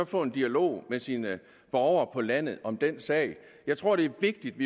få en dialog med sine borgere på landet om den sag jeg tror det er vigtigt